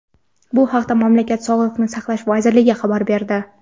Bu haqda mamlakat Sog‘liqni saqlash vazirligi xabar berdi.